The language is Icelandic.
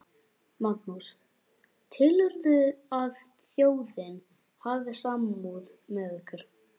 Magnús: Telurðu að þjóðin hafi samúð með ykkur?